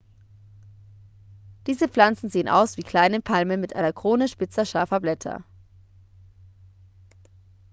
diese pflanzen sehen aus wie kleinen palmen mit einer krone spitzer scharfer blätter